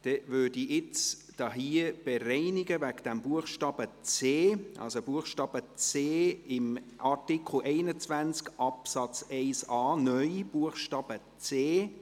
Somit werde ich jetzt den Buchstaben c von Artikel 21 Absatz 1a (neu) bereinigen.